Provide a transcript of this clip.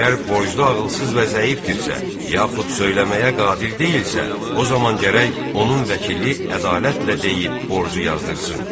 Əgər borclu ağılsız və zəifdirsə, yaxud söyləməyə qadir deyilsə, o zaman gərək onun vəkili ədalətlə deyib borcu yazdırsın.